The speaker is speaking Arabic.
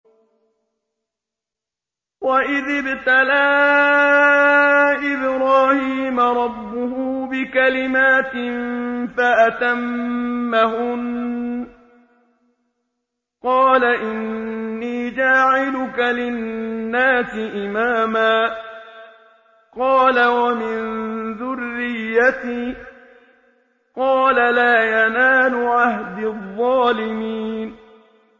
۞ وَإِذِ ابْتَلَىٰ إِبْرَاهِيمَ رَبُّهُ بِكَلِمَاتٍ فَأَتَمَّهُنَّ ۖ قَالَ إِنِّي جَاعِلُكَ لِلنَّاسِ إِمَامًا ۖ قَالَ وَمِن ذُرِّيَّتِي ۖ قَالَ لَا يَنَالُ عَهْدِي الظَّالِمِينَ